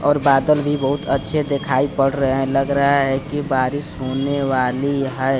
और बादल भी बहुत अच्छे देखाई पड़ रहे है लग रहा है कि बारिश होने वाली हैं।